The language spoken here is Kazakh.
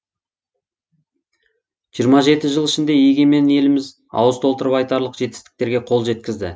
жиырма жеті жыл ішінде егемен еліміз ауыз толтырып айтарлық жетістіктерге қол жеткізді